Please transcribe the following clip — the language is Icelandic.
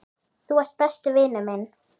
Þú ert besti vinur minn.